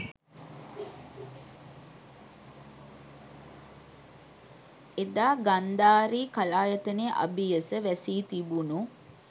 එදා ගන්ධාරි කලායතනය අබියස වැසී තිබුණු